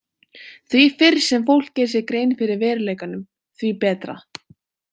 Því fyrr sem fólk gerir sér grein fyrir veruleikanum, því betra.